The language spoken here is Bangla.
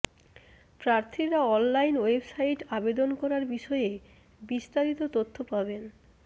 প্রার্থীরা অনলাইন ওয়েবসাইট আবেদন করার বিষয়ে বিস্তারিত তথ্য পাবেন